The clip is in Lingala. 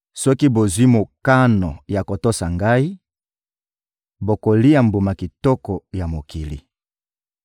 Soki bozwi mokano ya kotosa Ngai, bokolia mbuma kitoko ya mokili.